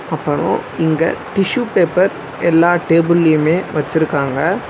அப்பரோ இங்க tissue paper எல்லா டேபிள்யுமே வச்சிருக்காங்க.